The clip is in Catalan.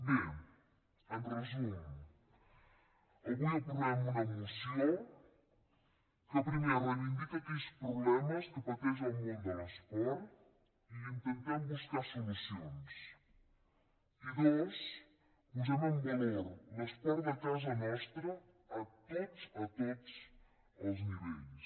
bé en resum avui aprovem una moció que primer reivindica aquells problemes que pateix el món de l’esport i intentem buscar hi solucions i dos posem en valor l’esport de casa nostra a tots a tots els nivells